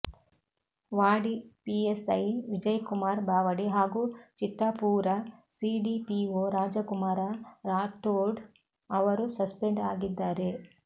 ವಾಡಿ PSI Vijaykumar Bawadi ಹಾಗೂ Chittapur CDPO Rajkumar Rathod ಅವರು suspend ಆಗಿದ್ದಾರೆ